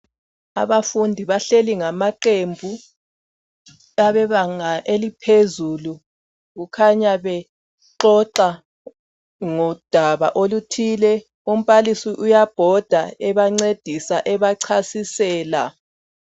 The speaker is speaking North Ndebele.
Abafundi bahleli ngamaqembu abebanga eliphezulu kukhanya bexoxa ngodaba oluthile umbalisi uyabhoda ebancedisa ebachasisela.